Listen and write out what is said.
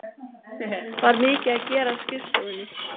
Var mikið að gera á skrifstofunni?